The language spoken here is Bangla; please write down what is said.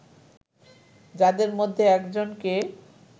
যাদের মধ্যে একজনকে